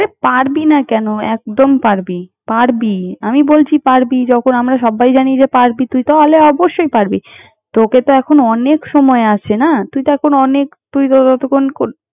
আরে পারবি না কেন? একদম পারবি, পারবি। আমি বলছি, পারবি যখন আমরা সব্বাই জানি যে, পারবি তুই তাহলে অবশ্যই পারবি। তোকে তো এখন অনেক সময় আছে না! তুই তো এখন অনেক তুই তো ততক্ষণ।